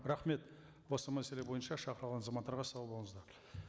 рахмет осы мәселе бойынша шақырылған азаматтарға сау болыңыздар